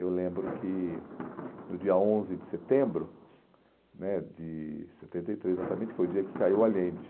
Eu lembro que no dia onze de setembro, né de setenta e três exatamente, foi o dia que caiu o aliente.